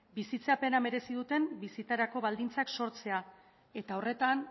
bizitzapena merezi duten bizitzarako baldintzak sortzea eta horretan